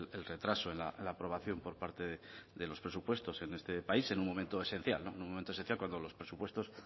el retraso en la aprobación por parte de los presupuestos en este país en un momento esencial en un momento esencial cuando los presupuestos